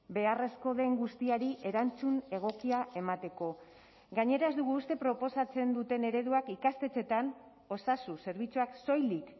beharrezko den guztiari erantzun egokia emateko gainera ez dugu uste proposatzen duten ereduak ikastetxeetan osasun zerbitzuak soilik